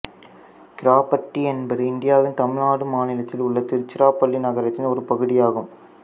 கிராப்பட்டி என்பது இந்தியாவின் தமிழ்நாடு மாநிலத்தில் உள்ள திருச்சிராப்பள்ளி நகரத்தின் ஒரு பகுதியாகும்